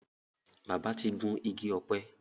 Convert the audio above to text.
bàbá tí gún Igi ọ̀pẹ.